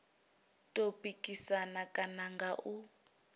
tou pikisana kana nga u